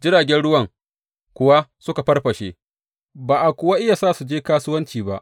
Jiragen ruwan kuwa suka farfashe, ba a kuwa iya sa su je kasuwanci ba.